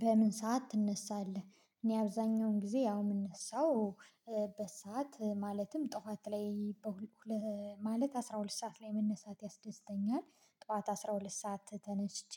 በምን ሰዓት ትነሳለህ? እኔ አብዛኛውን ጊዜ ያው የምነሳው በሰአት ማለትም ጠዋት ላይ ማለት አስራ ሁለት ሰዓት ላይ መነሳት ያስደስተኛል ጠዋት አስራ ሁለት ሰዓት ተነስቼ